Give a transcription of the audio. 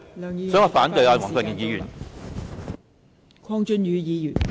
所以，我反對黃國健議員的議案。